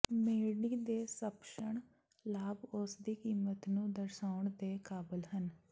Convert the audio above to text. ਸੇਰਡੀ ਦੇ ਸਪੱਸ਼ਟ ਲਾਭ ਉਸ ਦੀ ਕੀਮਤ ਨੂੰ ਦਰਸਾਉਣ ਦੇ ਕਾਬਲ ਹਨ